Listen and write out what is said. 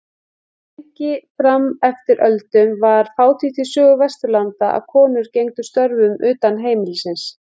Lengi fram eftir öldum var fátítt í sögu Vesturlanda að konur gegndu störfum utan heimilis.